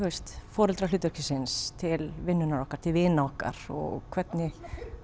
foreldrahlutverksins til vinnunnar okkar til vina okkar og hvernig